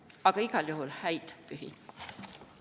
Aga igal juhul häid pühi!